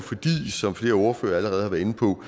som flere ordførere allerede har været inde på